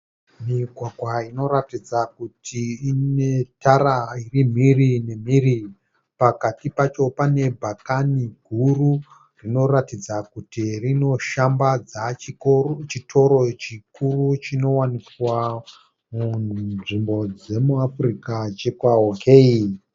Migwagwa inoratidza kuti ine tara iri mhiri nemhiri. Pakati pacho pane bhakani guru rinoratidza kuti rinoshambadza chitoro chikuru chinowanikwa munzvimbo dzemuAfrica chekwa OK.